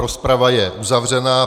Rozprava je uzavřená.